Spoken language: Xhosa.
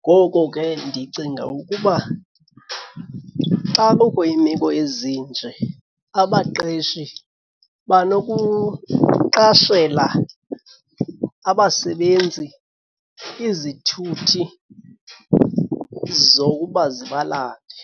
Ngoko ke ndicinga ukuba xa kukho iimeko ezi nje abaqeshi banokuqashela abasebenzi izithuthi zokuba zibalande.